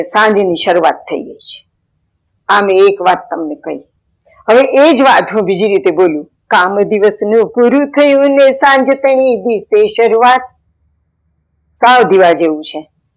સાંજે ની શરૂવાત થઈ ગઈ છે. આમાંય એક વાત તમને કઈ, હવે એજ વાત હું બીજી રીતે બોલું, કામ દિવસ નું પૂરું થયું ને સાંજ તેની ની શુરુવાત સાવ ધીવા જેવું છે